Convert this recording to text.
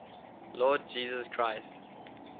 lord jesus christ